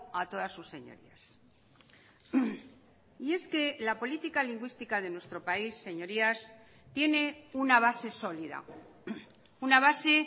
a todas sus señorías y es que la política lingüística de nuestro país señorías tiene una base sólida una base